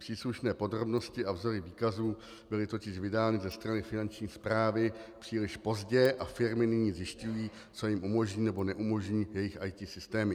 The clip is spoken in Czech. Příslušné podrobnosti a vzory výkazů byly totiž vydány ze strany Finanční správy příliš pozdě a firmy nyní zjišťují, co jim umožní nebo neumožní jejich IT systémy.